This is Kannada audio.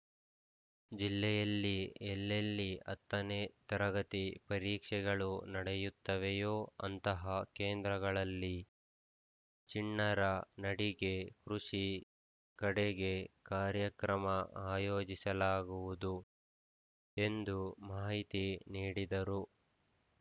ಜಿಲ್ಲೆಯಲ್ಲಿ ಎಲ್ಲೆಲ್ಲಿ ಹತ್ತನೆ ತರಗತಿ ಪರೀಕ್ಷೆಗಳು ನಡೆಯುತ್ತವೆಯೋ ಅಂತಹ ಕೇಂದ್ರಗಳಲ್ಲಿ ಚಿಣ್ಣರ ನಡಿಗೆ ಕೃಷಿ ಕಡೆಗೆ ಕಾರ್ಯಕ್ರಮ ಆಯೋಜಿಸಲಾಗುವುದು ಎಂದು ಮಾಹಿತಿ ನೀಡಿದರು